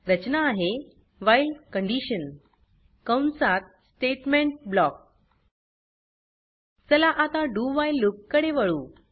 रचना आहे व्हाईल कंसात statement block चला आता dowhile लूप कडे वळू